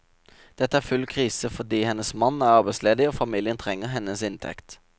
Dette er full krise fordi hennes mann er arbeidsledig og familien trenger hennes inntekt.